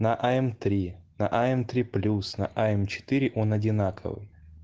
на а м три а м три плюс на а м четыре он одинаковый